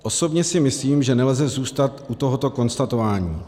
Osobně si myslím, že nelze zůstat u tohoto konstatování.